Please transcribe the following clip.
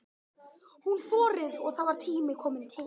Hún þorir og það var tími kominn til.